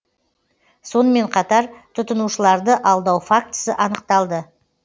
сонымен қатар тұтынушыларды алдау фактісі анықталды